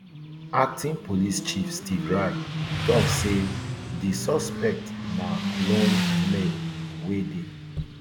acting police chief steve rai tok say di suspect na lone male wey dey